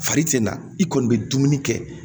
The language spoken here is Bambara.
Fari tɛ na i kɔni bɛ dumuni kɛ